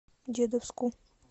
дедовску